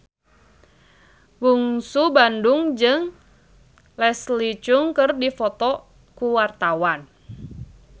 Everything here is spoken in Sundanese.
Bungsu Bandung jeung Leslie Cheung keur dipoto ku wartawan